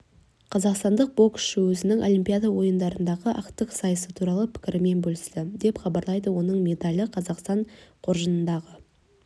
қазақстандық боксшы өзінің олимпиада ойындарындағы ақтық сайысы туралы пікірімен бөлісті деп хабарлайды оның медалі қазақстан қоржынындағы